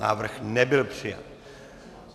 Návrh nebyl přijat.